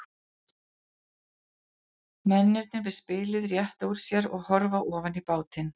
Mennirnir við spilið rétta úr sér og horfa ofan í bátinn.